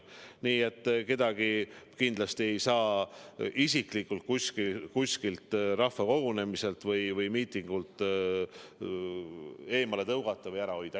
Nii et kedagi kindlasti ei saa isiklikult kuskilt rahvakogunemiselt või miitingult eemale tõugata või eemal hoida.